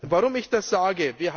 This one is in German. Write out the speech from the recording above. Warum ich das sage?